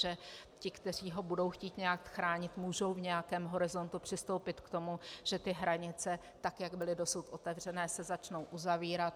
Že ti, kteří ho budou chtít nějak chránit, mohou v nějakém horizontu přistoupit k tomu, že ty hranice, tak jak byly dosud otevřené, se začnou uzavírat.